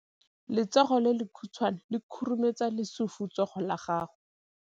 Letsogo le lekhutshwane le khurumetsa lesufutsogo la gago.